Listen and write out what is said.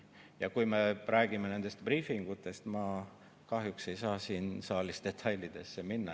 Ja kui me räägime nendest briifidest, siis kahjuks ei saa ma siin saalis detailidesse minna.